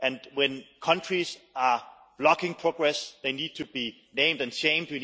When countries block progress, they need to be named and shamed.